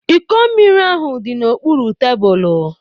Iko mmiri ahu di n'okpuru tebulu